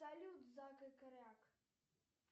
салют зак и кряк